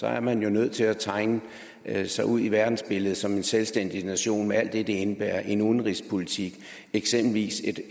er man nødt til at tegne sig ud i verdensbilledet som en selvstændig nation med alt det det indebærer en udenrigspolitik og eksempelvis